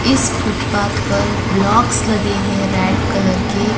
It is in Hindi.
इस फुटपाथ पर ब्लॉक्स लगे हैं रैड कलर के।